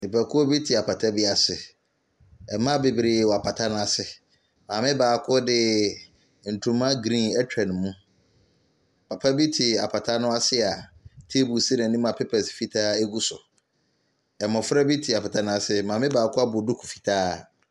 Nipa kuw bi te apata bi ase, mmaa beberee wɔ apata n'asi. Maame baako de ntoma griin etwa ne mu. Papa bi ye apata n'ase teebol si n'anim pepɛs fitaa egu so. Mmɔfra bi te pata n'asi, maame baako abɔ dukuu fitaa.